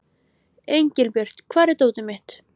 Engilbjört, hvar er dótið mitt?